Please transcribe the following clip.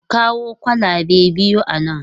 Ku kawo kwalabe biyu a nan!